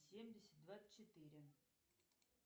семьдесят двадцать четыре